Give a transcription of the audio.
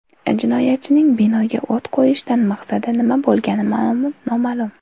Jinoyatchining binoga o‘t qo‘yishdan maqsadi nima bo‘lgani noma’lum.